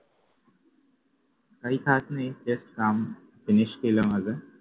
काही खास नाही just काम finish केलं माझं